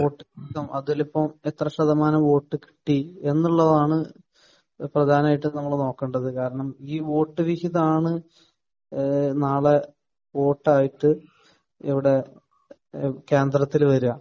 Vote. അതിലിപ്പോൾ എത്ര ശതമാനം വോട്ട് കിട്ടി എന്നുള്ളതാണ് പ്രധാനമായിട്ടും നമ്മൾ നോക്കണ്ടത്. കാരണം ഈ വോട്ട് വിഹിതമാണ് ഏഹ് നാളെ വോട്ട് ആയിട്ട് ഇവിടെ ഏഹ് കേന്ദ്രത്തിൽ വരുക.